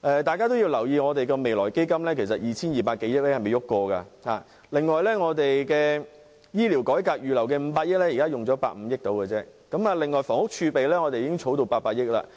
大家也要留意，未來基金的 2,200 多億元其實並未動用分毫；另外，醫療改革預留的500億元現時只花了大約150億元而已；房屋儲備金亦已滾存至800億元。